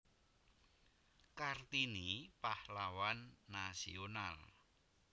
Kartini Pahlawan Nasional